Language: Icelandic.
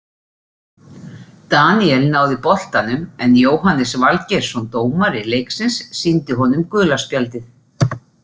Daníel náði boltanum en Jóhannes Valgeirsson dómari leiksins sýndi honum gula spjaldið.